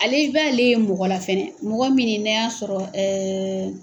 Ale i b'ale mɔgɔ fɛnɛ mɔgɔ minni n'a y'a sɔrɔ